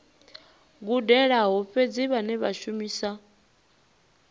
gudelaho fhedzi vhane vha shumisa